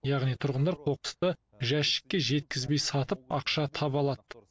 яғни тұрғындар қоқысты жәшікке жеткізбей сатып ақша таба алады